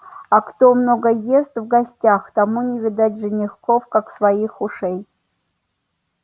а кто много ест в гостях тому не видать женихов как своих ушей